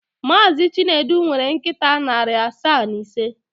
Mazị Chinedu nwere nkịta narị asaa na ise.